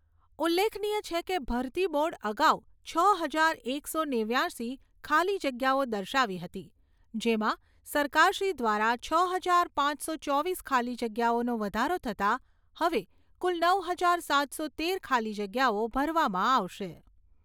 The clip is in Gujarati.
ઉલ્લેખનીય છે કે, ભરતી બોર્ડ અગાઉ છ હજાર એકસો નેવ્યાશી ખાલી જગ્યાઓ દર્શાવી હતી જેમાં સરકારશ્રી દ્વારા છ હજાર પાંચસો ચોવીસ ખાલી જગ્યાઓનો વધારો થતા હવે કુલ નવ હજાર સાતસો તેર ખાલી જગ્યાઓ ભરવામાં આવશે.